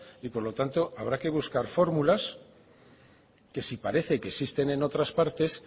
y por lo tanto habrá que buscar fórmulas que si parecen que existen en otras partes